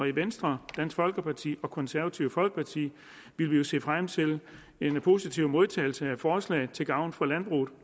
i venstre dansk folkeparti og det konservative folkeparti vil vi se frem til en positiv modtagelse af forslaget til gavn for landbruget